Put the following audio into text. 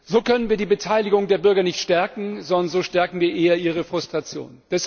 So können wir die Beteiligung der Bürger nicht stärken, sondern so stärken wir eher ihre Frustration!